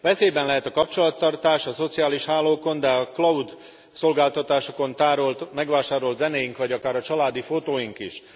Veszélyben lehet a kapcsolattartás a szociális hálókon, de a cloud szolgáltatásokon tárolt, megvásárolt zenéink vagy akár a családi fotóink is.